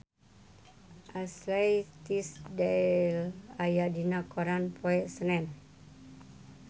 Ashley Tisdale aya dina koran poe Senen